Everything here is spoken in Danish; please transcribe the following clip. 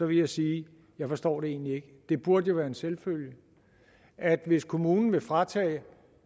vil jeg sige jeg forstår det egentlig ikke det burde jo være en selvfølge at hvis kommunen vil fratage